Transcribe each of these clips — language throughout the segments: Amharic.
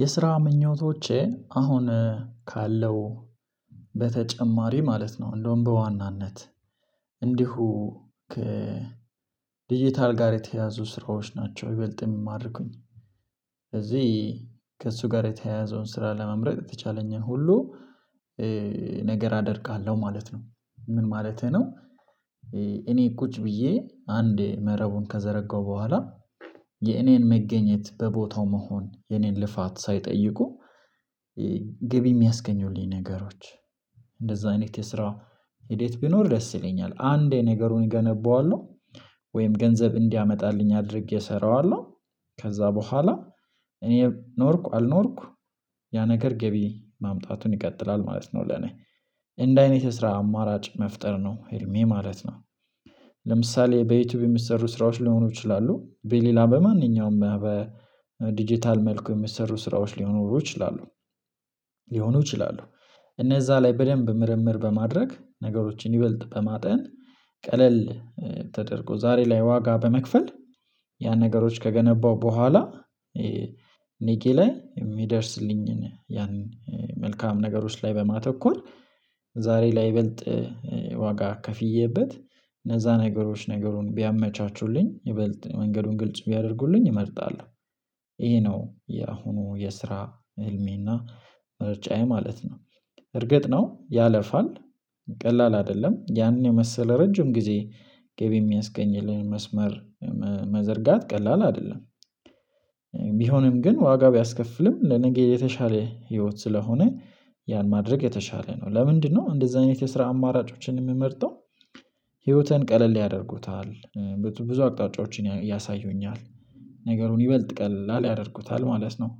የስራ ምኞቶቼ አሁን ካለው በተጨማሪ ማለት ነው እንደውም በዋናነት እንዲሁ ከዲጂታል ጋር የተያዙ ስራዎች ናቸው ይበልጥ የሚማርኩኝ። ስለዚህ ከእሱ ጋር የተያያዘውን ስራ ለመምረጥ የተቻለኝን ሁሉ ነገር አደርጋለሁ ማለት ነው። ምን ማለቴ ነው? እኔ ቁጭ ብዬ አንዴ መረቡን ከዘረጋው በኋላ። የኔን መገኘት በቦታው መሆን የኔን ልፋት ሳይጠይቁ ገቢ የሚያስገኙልኝ ነገሮች። እንደዛ አይነት የስራ ሂደት ቢኖር ደስ ይለኛል። አንዴ ነገሩን እገነባዋለሁ። ወይም ገንዘብ እንዲያመጣልኝ አድርጌ እሰራዋለሁ። ከዛ በኋላ እኔ ኖርኩ አልኖርኩ ያ ነገር ገቢ ማምጣቱን ይቀጥላል ማለት ነው። ለኔ እንዲ አይነት የሰራ አማራጭ መፍጠር ነው ህልሜ ማለት ነው። በዩቲዩብ የሚሰሩ ስራዎች ሊሆኑ ይችላሉ በሌላ በማንኛውም በዲጂታል መልኩ የሚሰሩ ስራዎች ሊኖሩ ይችላሉ። ሊሆኑ ይችላሉ እነዛ ላይ በደንብ ምርምር በማድረግ ነገሮችን ይበልጥ በማጤን። ቀለል ተደርጎ ዛሬ ላይ ዋጋ በመክፈል ያን ነገሮች ከገነባው በኋላ። ነገ ላይ የሚደርስልኝን ያን መልካም ነገሮች ላይ በማተኮር ዛሬ ለይበልጥ ዋጋ ከፍዬበት እነዛ ነገሮች ነገሩን ቢያመቻቹልኝ ይበልጥ መንገዱን ግልጽ ቢያደርጉልኝ እመርጣለሁ። ይሄ ነው የአሁኑ የስራ ህልሜና ምርጫዬ ማለት ነው። እርግጥ ነው ያለፋል ቀላል አይደለም ያንን የመሰለ ረጅም ጊዜ ገቢ የሚያስገኝልኝ መስመር መዘርጋት ቀላል አይደለም። ቢሆንም ግን ዋጋ ቢያስከፍልም ለነገ የተሻለ ህይወት ስለሆነ ያን ማድረግ የተሻለ ነው ለምንድነው እንደዚህ አይነት የስራ አማራጮችን የምመርጠው? ህይወትን ቀለል ያደርጉታል። ብዙ አቅጣጫዎችን ያሳዩኛል። ነገሩን ይበልጥ ቀላል ያደርጉታል ማለት ነው።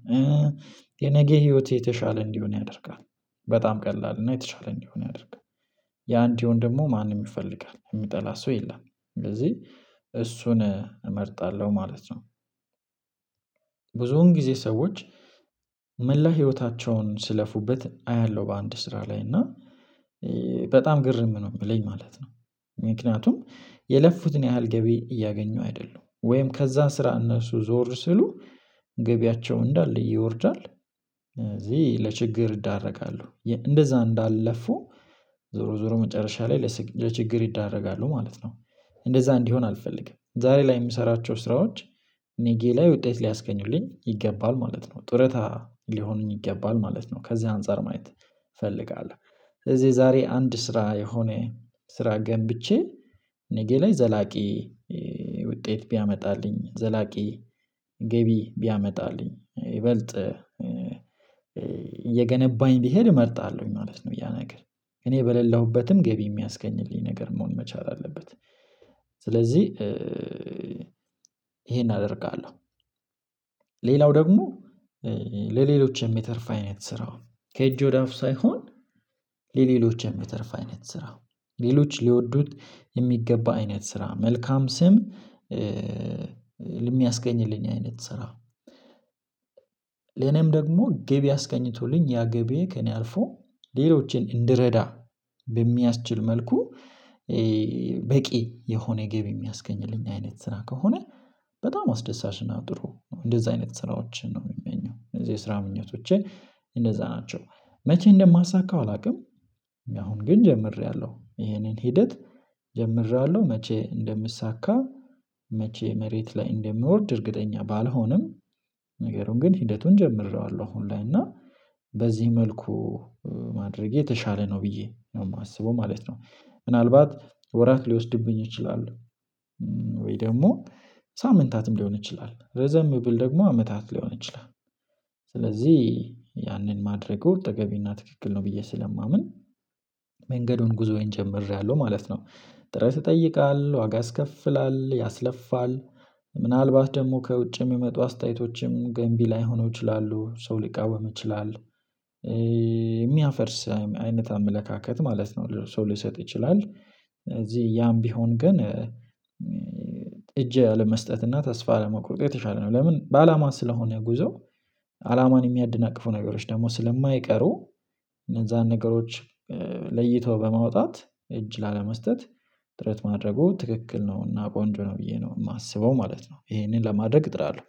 የነገ ህይወት የተሻለ እንዲሆን ያደርጋል። በጣም ቀላል እና የተሻለ እንዲሆን ያደርጋል። ያ እንዲሆን ደግሞ ማንም ይፈልጋል የሚጠላ ሰው የለም። ስለዚህ እሱን እመርጣለሁ ማለት ነው። ብዙውን ጊዜ ሰዎች መላ ህይወታቸውን ሲለፉበት አያለሁ። በአንድ ስራ ላይ እና በጣም ግርም ነው የሚለኝ ማለት ነው። ምክንያቱም የለፉትን ያህል ገቢ እያገኙ አይደሉም ወይም ከዛ ስራ እነሱ ዞር ሲሉ ገቢያቸው እንዳለ ይወርዳል። ስለዚህ ለችግር ይዳረጋሉ እንደዛ እንዳልለፉ። ዞሮ ዞሮ መጨረሻ ላይ ለችግር ይዳረጋሉ ማለት ነው። እንደዛ እንዲሆን አልፈልግም። ዛሬ ላይ የምሰራቸው ስራዎች። ነገ ላይ ውጤት ሊያስገኙልኝ ይገባል ማለት ነው። ጡረታ ሊሆኑኝ ይገባል ማለት ነው። ከዚህ አንፃር ማየት እፈልጋለሁ። እዚህ ዛሬ አንድ ስራ የሆነ ስራ ገንብቼ። ነገ ላይ ዘላቂ ውጤት ቢያመጣልኝ ዘላቂ ገቢ ቢያመጣልኝ ይበልጥ እየገነባኝ ቢሄድ እመርጣለሁኝ ማለት ነው። ያ ነገር እኔ በሌለሁበትም ገቢ የሚያስገኝልኝ ነገር መሆን መቻል አለበት። ስለዚህ ይሄን አደርጋለሁ። ሌላው ደግሞ ለሌሎች የሚተርፍ አይነት ስራው ከእጅ ወደ አፍ ሳይሆን። ለሌሎች የሚተርፍ አይነት ስራ። ሌሎች ሊወዱት የሚገባ አይነት ስራ መልካም ስም። ለሚያስገኝልኝ አይነት ስራ። ለእኔም ደግሞ ገቢ አስገኝቶልኝ ያ ገቢዬ ከእኔ አልፎ ሌሎችን እንድረዳ በሚያስችል መልኩ። በቂ የሆነ ገቢ የሚያስገኝልኝ አይነት ስራ ከሆነ በጣም አስደሳች እና ጥሩ ነው። እንደዛ አይነት ስራዎችን ነው የምመኘው ስለዚህ የስራ ምኞቶቼ። እንደዛ ናቸው። መቼ እንደማሳካው አላውቅም። አሁን ግን ጀምሬያለሁ ይሄንን ሂደት። ጀምሬያለሁ መቼ እንደሚሳካ መቼ መሬት ላይ እንደሚወርድ እርግጠኛ ባልሆንም። ነገሩን ግን ሂደቱን ጀምሬዋለሁ። አሁን ላይ እና በዚህ መልኩ ማድረጌ የተሻለ ነው ብዬ ነው የማስበው ማለት ነው። ምናልባት ወራት ሊወስድብኝ ይችላል። ወይ ደግሞ ሳምንታትም ሊሆን ይችላል ረዘም ቢል ደግሞ አመታት ሊሆን ይችላል። ስለዚህ ያንን ማድረጉ ተገቢ እና ትክክል ነው ብዬ ስለማምን መንገዱን ጉዞዬን ጀምሬያለሁ ማለት ነው። ጥረት ይጠይቃል ዋጋ ያስከፍላል ያስለፋል። ምናልባት ደግሞ ከውጭም የሚመጡ አስተያየቶችም ገንቢ ላይሆኑ ይችላሉ ሰው ሊቃወም ይችላል። የሚያፈርስ አይነት አመለካከት ማለት ነው። ሰው ሊሰጥ ይችላል። ስለዚህ ያም ቢሆን ግን። እጅ አለመስጠት እና ተስፋ አለመቁረጥ የተሻለ ነው። ለምን በአላማ ስለሆነ ጉዞ። አላማን የሚያድናቅፉ ነገሮች ደግሞ ስለማይቀሩ። እነዛን ነገሮች ለይተው በማውጣት እጅ ላለመስጠት ጥረት ማድረጉ ትክክል ነው። እና ቆንጆ ነው ብዬ ነው የማስበው ማለት ነው። ይሄንን ለማድረግ እጥራለሁ።